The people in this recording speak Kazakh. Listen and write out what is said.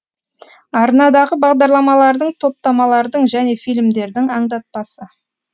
арнадағы бағдарламалардың топтамалардың және фильмдердің аңдатпасы